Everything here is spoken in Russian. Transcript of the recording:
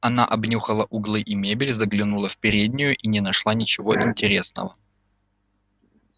она обнюхала углы и мебель заглянула в переднюю и не нашла ничего интересного